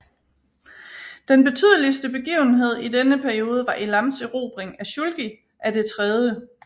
Den betydeligste begivenhed i denne periode var Elams erobring af Shulgi af det 3